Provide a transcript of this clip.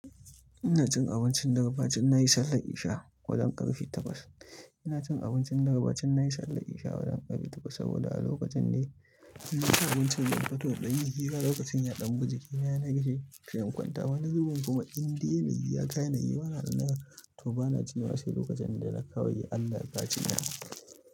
Ina cin abincin dare ba cin na yi sallah isha wajen ƙarfe takwas. Ina cin abincin dare ba cin na yi sallah isha wajen ƙarfi takwas saboda a lokacin ne ina cin abincin dare. Toɗa yin hira lokacin ya ɗan buji, ya narke, sai'in kwanta wani zubin kuma in dai na yi ya kayana, yi mana rina. To bana ci ma sai lokacin da na kawai Allah ya kaifi ni.